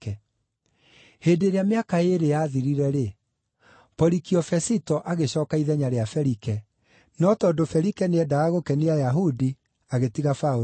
Hĩndĩ ĩrĩa mĩaka ĩĩrĩ yathirire-rĩ, Porikio Fesito agĩcooka ithenya rĩa Felike, no tondũ Felike nĩendaga gũkenia Ayahudi, agĩtiga Paũlũ njeera.